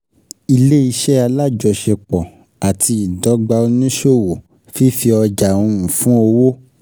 Ilé- iṣẹ́ alájọṣepọ̀ àti Ìdọ́gba oníṣòwò, Fífi Ọjà um fún Owó.